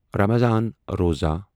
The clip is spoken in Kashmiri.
رمضان روزہ